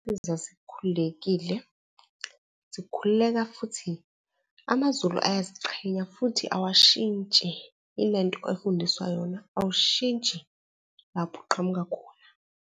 ezazikhulekile, zikhululeka futhi amaZulu ayaziqhenya futhi awashintshi, yilento afundiswa yona awushintshi lapho uqhamuka khona.